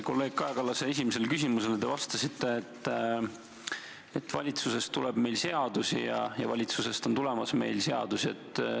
Kolleeg Kaja Kallase esimesele küsimusele te vastasite, et valitsusest tuleb meile seadusi ja valitsusest on tulemas meile seadusi.